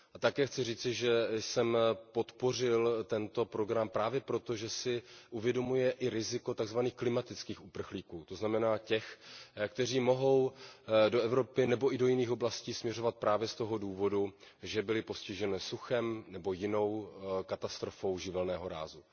A také chci říci, že jsem podpořil tento program právě proto, že si uvědomuje i riziko tzv. klimatických uprchlíků. To znamená těch, kteří mohou do Evropy nebo i do jiných oblastí směřovat právě z toho důvodu, že byli postiženi suchem nebo jinou katastrofou živelného rázu.